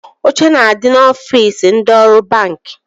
Oche na-adi n'ofiisi ndị ọrụ banki